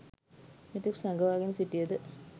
මෙතෙක් සඟවාගෙන සිටියද